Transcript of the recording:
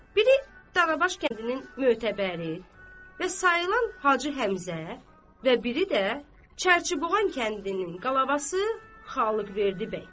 Biri Darabaş kəndinin mötəbəri və sayılan Hacı Həmzə və biri də Çərçiboğan kəndinin qalabası Xalıqverdi bəy.